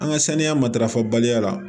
An ka saniya matarafa baliya la